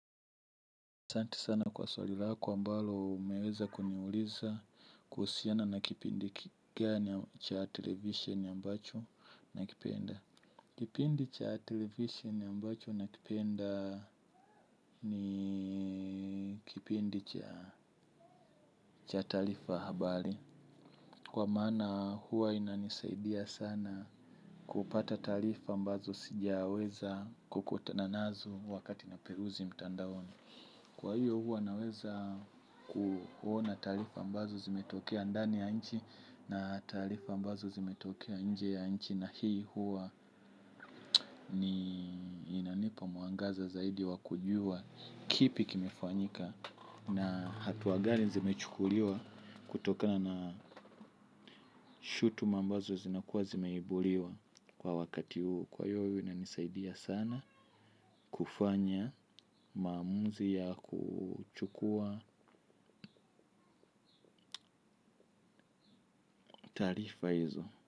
Asanti sana kwa swali lako ambalo umeweza kuniuliza kuhusiana na kipindi kika cha television ambacho nakipenda. Kipindi cha television ambacho nakipenda ni kipindi cha taarifa habari. Kwa maana huwa inanisaidia sana kupata taarifa ambazo sijaweza kukutana nazo wakati naperuzi mtandaoni. Kwa hiyo huwa naweza kuona taarifa ambazo zimetokea ndani ya nchi na taarifa ambazo zimetokea nje ya nchi na hii huwa ni inanipa mwangaza zaidi wa kujua kipi kimefanyika na hatua gani zimechukuliwa kutokana na shutuma ambazo zinakuwa zimeibuliwa kwa wakati huu. Kwa hiyo inanisaidia sana kufanya maamuzi ya kuchukua taarifa hizo.